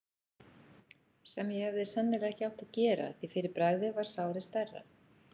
sem ég hefði sennilega ekki átt að gera, því fyrir bragðið varð sárið stærra.